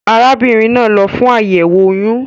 Arábínrin naa n lo fún àyèwò oyún